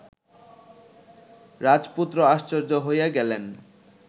রাজপুত্র আশ্চর্য হইয়া গেলেন